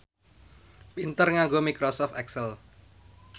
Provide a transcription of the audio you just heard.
pinter nganggo microsoft excel